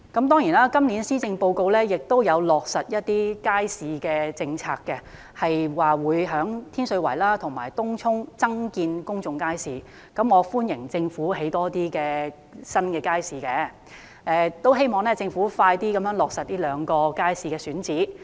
當然今年施政報告亦有落實一些街市的政策，提到會在天水圍和東涌增建公眾街市，我歡迎政府興建更多新街市，亦希望政府盡快落實這兩個街市的選址。